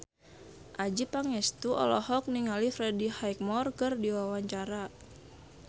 Adjie Pangestu olohok ningali Freddie Highmore keur diwawancara